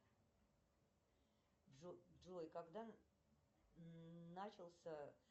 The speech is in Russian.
джой когда начался